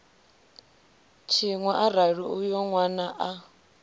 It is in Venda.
tshiṅwe arali uyo nwana a